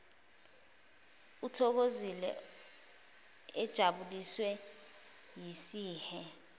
ethokozile ejabuliswe yisihe